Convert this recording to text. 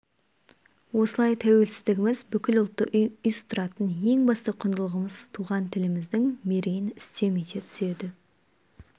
осылай тәуелсіздігіміз бүкіл ұлтты ұйыстыратын ең басты құндылығымыз туған тіліміздің мерейін үстем ете түседі